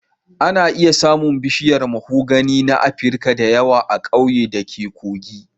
Ana iya samun bishiyar mahogany na Afirka da yawa a ƙauyena da ke Kogi